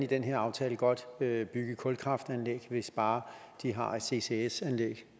den her aftale godt bygge kulkraftværker hvis bare de har et ccs anlæg